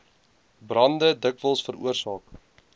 brande dikwels veroorsaak